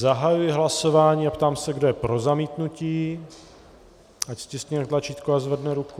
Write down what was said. Zahajuji hlasování a ptám se, kdo je pro zamítnutí, ať stiskne tlačítko a zvedne ruku.